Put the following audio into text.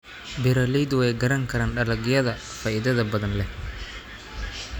Beeraleydu way garan karaan dalagyada faa'iidada badan leh.